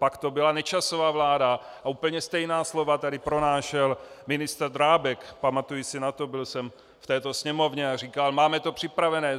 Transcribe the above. Pak to byla Nečasova vláda a úplně stejná slova tady pronášel ministr Drábek, pamatuji si na to, byl jsem v této Sněmovně, a říkal: Máme to připravené.